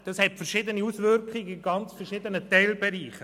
Das hat verschiedene Auswirkungen in verschiedenen Teilbereichen.